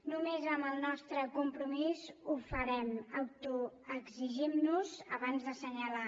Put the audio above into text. només amb el nostre compromís ho farem autoexigint nos abans d’assenyalar